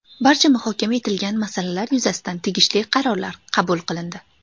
Barcha muhokama etilgan masalalar yuzasidan tegishli qarorlar qabul qilindi.